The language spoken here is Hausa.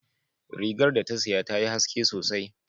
Rigar da ta siya tayi haske sosai